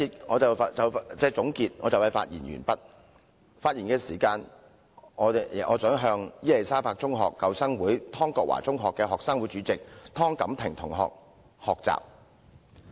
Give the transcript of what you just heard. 我在這一節的發言即將完結，現在我想向伊利沙伯中學舊生會湯國華中學的學生會主席湯錦婷同學學習。